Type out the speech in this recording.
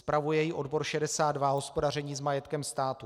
Spravuje ji odbor 62 Hospodaření s majetkem státu.